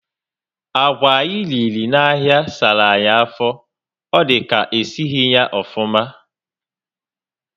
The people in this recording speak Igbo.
Agwà anyị riri na áhiá sárá anyị afọ. Ọ dị ka esighi ya ofụma